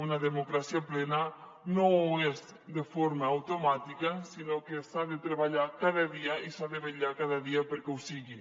una democràcia plena no ho és de forma automàtica sinó que s’ha de treballar cada dia i s’ha de vetllar cada dia perquè ho sigui